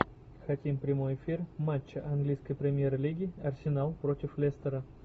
хотим прямой эфир матча английской премьер лиги арсенал против лестера